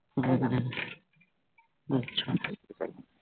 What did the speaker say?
হম আচ্ছা